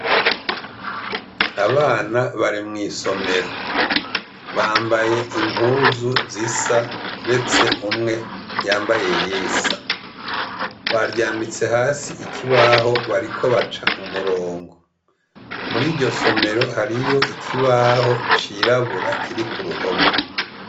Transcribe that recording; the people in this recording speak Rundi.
Abana bari mw'isomero. Bambaye impuzu zisa, uretse umwe yambaye iyisa. Baryamitse hasi ikibaho bariko baca umurongo. Muri iryo somero hariyo ikibaho cirabura kiri ku ruhome.